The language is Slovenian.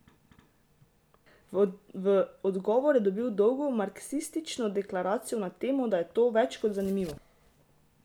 V odgovor je dobil dolgo marksistično deklaracijo na temo, da je to več kot zanimivo!